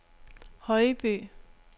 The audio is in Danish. Højby